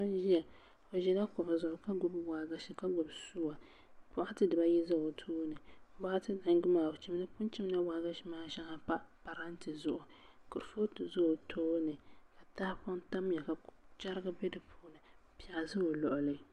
paɣa n ʒia o ʒila kuɣu zuɣu ka gbibi waagashi ka gbibi sua bɔkati diba ayi za o tooni bɔkati yindi maa o pun chimla waagashi maa shaŋa m-pa parante zuɣu kurifootu za o tooni tahipɔŋ tamya ka chɛriga be di puuni piɛɣu za o luɣili